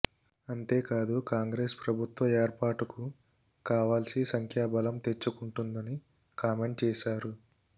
అంతేకాదు కాంగ్రెస్ ప్రభుత్వ ఏర్పాటుకు కావాల్సి సంఖ్యాబలం తెచ్చుకుంటుందని కామెంట్ చేశారు